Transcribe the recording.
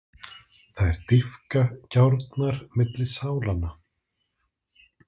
Þær dýpka gjárnar milli sálanna.